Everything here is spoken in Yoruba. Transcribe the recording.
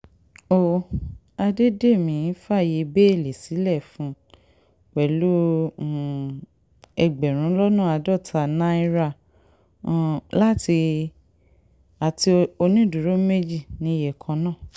ó àdédémí fààyè bẹ́ẹ́lí sílẹ̀ fún un pẹ̀lú um ẹgbẹ̀rún lọ́nà àádọ́ta náírà um àti onídùúró méjì níye kan náà